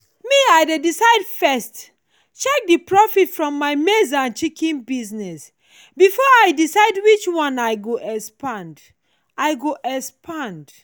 me i dey first check the profit from my maize and chicken business before i decide which one i go expand. i go expand.